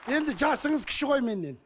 енді жасыңыз кіші ғой меннен